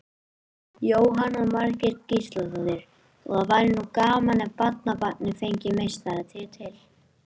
Jóhanna Margrét Gísladóttir: Og það væri nú gaman ef barnabarnið fengi meistaratitil?